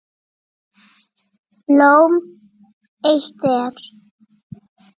Blóm eitt er.